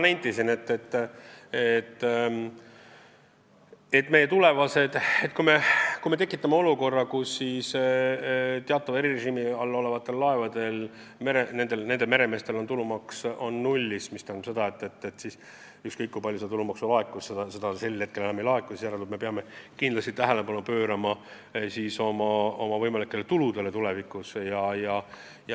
Nagu ma juba nentisin, et kui me tekitame olukorra, kus teatavat erirežiimi kasutavate laevade meremeestel on tulumaks null, mis tähendab seda, et ükskõik, kui palju seda tulumaksu seni laekus, seda edaspidi enam ei laeku, siis järelikult me peame tulevikus kindlasti garanteerima mingid muud tulud.